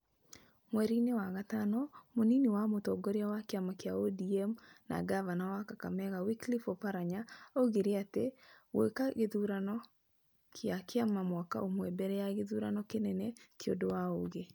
Mweri-inĩ wa gatano, mũnini wa mũtongoria wa kĩama kĩa ODM na ngabana wa Kakamega Wycliffe Oparanya, oigire atĩ gũĩka gĩthurano kĩa kĩama mwaka ũmwe mbere ya gĩthurano kĩnene ti ũndũ wa ũũgĩ.